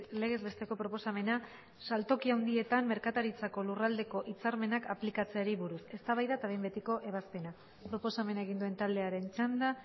legez besteko proposamena saltoki handietan merkataritzako lurraldeko hitzarmenak aplikatzeari buruz eztabaida eta behin betiko ebazpena proposamena egin duen taldearen txanda